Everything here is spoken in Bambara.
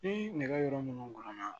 Ni nɛgɛyɔrɔ minnu ganna